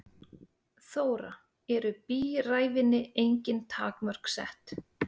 Þóra: Eru bíræfinni engin takmörk sett?